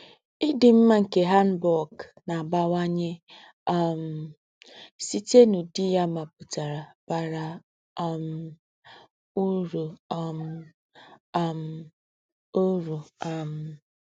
Ídí m̀mà nké hanbok nà-àbáwányé um sítè n’údí yá maputara bárá um úrú um um úrú um